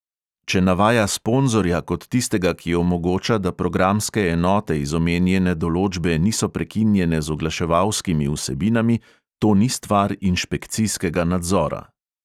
Če navaja sponzorja kot tistega, ki omogoča, da programske enote iz omenjene določbe niso prekinjene z oglaševalskimi vsebinami, "to ni stvar inšpekcijskega nadzora".